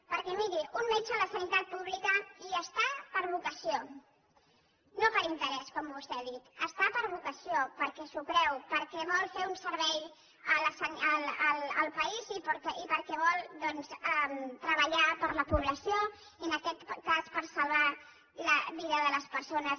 perquè miri un metge a la sanitat pública hi està per vocació no per interès com vostè ha dit hi està per vocació perquè s’ho creu perquè vol fer un servei al país i perquè vol doncs treballar per la població i en aquest cas per salvar la vida de les persones